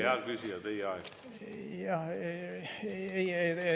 Hea küsija, teie aeg!